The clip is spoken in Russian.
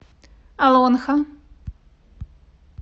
олонхо